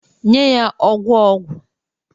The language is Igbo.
Nye ya ogwu ogwu!